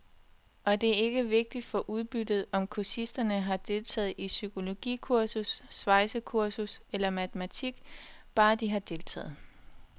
Og det er ikke vigtigt for udbyttet, om kursisterne har deltaget i psykologikursus, svejsekursus eller matematik, bare de har deltaget.